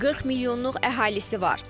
40 milyonluq əhalisi var.